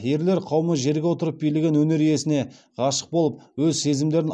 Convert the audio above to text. ерлер қауымы жерге отырып билеген өнер иесіне ғашық болып өз сезімдерін